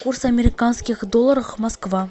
курс американских долларов москва